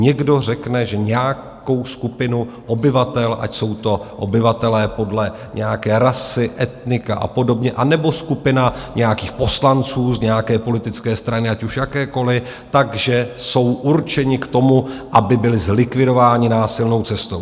Někdo řekne, že nějakou skupinu obyvatel, ať jsou to obyvatelé podle nějaké rasy, etnika a podobně, anebo skupina nějakých poslanců z nějaké politické strany, ať už jakékoliv, takže jsou určeni k tomu, aby byli zlikvidováni násilnou cestou.